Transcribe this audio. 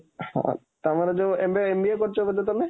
ହଁ, ତମର ଯୋଇ, MBA କରୁଛ ବୋଧେ ତମେ?